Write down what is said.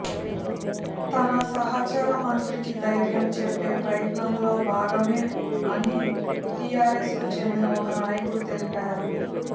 తన సహచర మంత్రికి ధైర్యం చెప్పే ప్రయత్నంలో భాగమే అని టిఆర్ఎస్ కు చెందిన ఒక నాయకుడు తెలిపారు